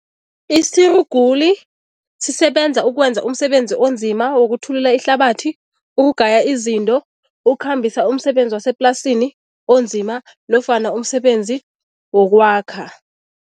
Isiruguli sisebenza ukwenza umsebenzi onzima wokuthulula ihlabathi, ukugaya izinto, ukukhambisa umsebenzi waseplasini onzima nofana umsebenzi wokwakha.